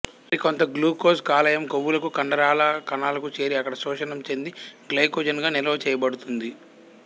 మరికొంత గ్లూకోజ్ కాలేయం క్రొవ్వులకు కండరాల కణాలకూ చేరి అక్కడ శోషణం చెంది గ్లైకోజన్ గా నిల్వ చేయబడుతుంది